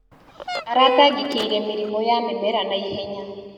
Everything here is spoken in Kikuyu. Aratangĩkĩire mĩrimũ ya mĩmera na ihenya.